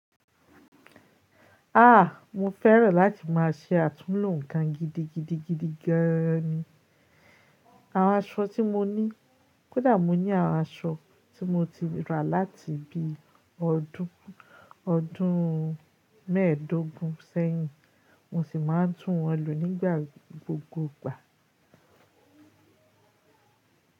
A! Mo fẹ́rẹ̀ láti má a ṣe àtúnhò nǹkan gidigidigidi gan an ni. Àwọn aṣọ tí mo ní, kódà mo ní àwọn aṣọ tí mo ti rà láti bí i ọdún, ọdún mẹ́ẹ̀dógún sẹ́yìn, mo sì máa ń tún wọn lu nígbà gbogbogbà.